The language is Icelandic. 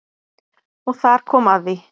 Og þar kom að því.